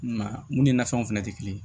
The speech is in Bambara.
I m'a ye mun ni nafɛnw fɛnɛ tɛ kelen ye